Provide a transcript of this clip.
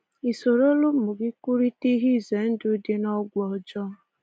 I sorola ụmụ gị kwurịta ihe izendụ ndị dị n’ọgwụ ọjọọ?